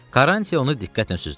Karranti onu diqqətlə süzdü.